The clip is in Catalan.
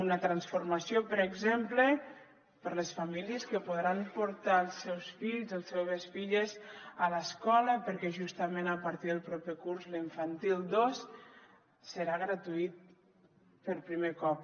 una transformació per exemple per a les famílies que podran portar els seus fills i les seves filles a l’escola perquè justament a partir del proper curs l’infantil dos serà gratuït per primer cop